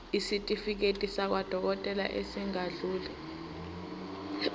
isitifiketi sakwadokodela esingadluli